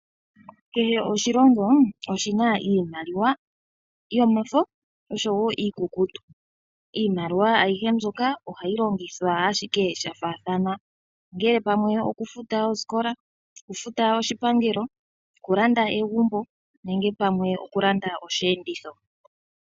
Kehe oshilongo oshi na iimaliwa yomafo osho wo iikukutu. Iimaliwa ayihe mbyoka ohayi longithwa ashike sha faathana, ongele pamwe oku futa osikola, oku futa oshipangelo , oku landa egumbo nenge pamwe oku landa osheenditho.